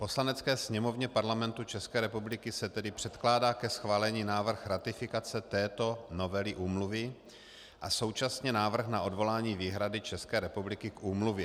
Poslanecké sněmovně Parlamentu České republiky se tedy předkládá ke schválení návrh ratifikace této novely úmluvy a současně návrh na odvolání výhrady České republiky k úmluvě.